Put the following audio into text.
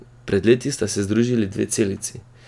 Pred leti sta se združili dve celici.